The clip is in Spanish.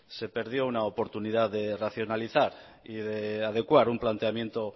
se perdió una oportunidad de racionalizar y de adecuar un planteamiento